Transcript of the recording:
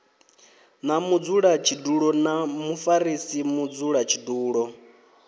na mudzulatshidulo na mufarisa mudzulatshidulo